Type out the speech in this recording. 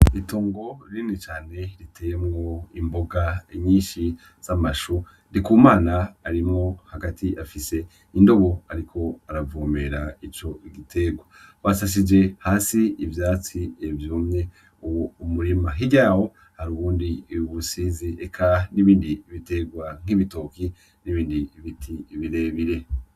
Itongo rinini cane riteyemwo imvboga nyinshi z'amashu, Ndikumana arimwo hagati afise indobo ariko aravomera ico giterwa. Basasije hasi ivyatsi vyumye uwo murima. Hirya yawo hari ubundi busize eka n'ibindi biterwa nk'ibitoke n'ibindi biti birebire.